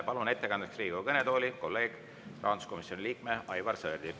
Palun ettekandeks Riigikogu kõnetooli kolleegi, rahanduskomisjoni liikme Aivar Sõerdi.